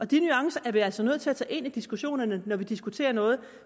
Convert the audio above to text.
de nuancer er vi altså nødt til at tage ind i diskussionen når vi diskuterer noget